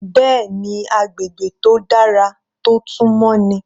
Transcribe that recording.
Bẹ́ẹ̀ni agbègbè tó dára tó tún mọ́ ni.